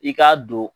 I k'a don